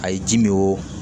A ye ji min o